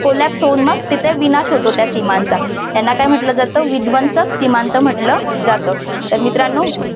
colapse होऊन मग तिथे विनाश होतो त्या सीमांचा त्यांना काय म्हटल जात विद्वंसक सीमांत म्हटलं जातं तर मित्रांनो